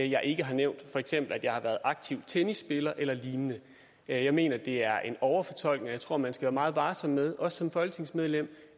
jeg ikke har nævnt for eksempel at jeg har været aktiv tennisspiller eller lignende jeg mener det er en overfortolkning og jeg tror man skal være meget varsom med også som folketingsmedlem